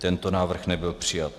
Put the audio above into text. Tento návrh nebyl přijat.